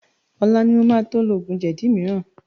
Ọlá ni mo máa to lo oògùn jẹ̀dí mìíràn